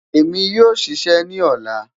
Emi yoo ṣiṣẹ ni ọla